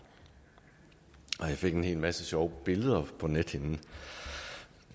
jeg fik en hel masse sjove billeder på nethinden